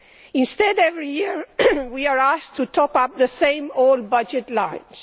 Instead, every year we are asked to top up the same old budget lines.